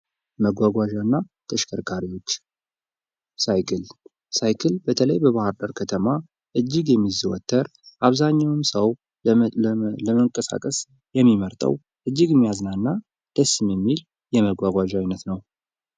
መጓጓዣና ተሽከርካሪዎች፦ ሳይክል፦ ሳይክል በተለይ በባህር ዳር ከተማ እጅግ የሚዘወትር ፣ አብዛኛውም ሰው ለመንቀሳቀስ የሚመርጠው እጅግ የሚያዝናና ፣ ደስም የሚል የመጓጓዣ አይነት ነው ።